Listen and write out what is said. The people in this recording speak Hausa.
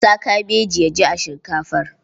Sa kabeji ya ji a shinkafar.